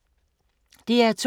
DR2